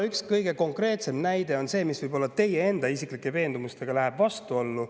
Üks kõige konkreetsem näide läheb võib-olla teie isiklike veendumustega vastuollu.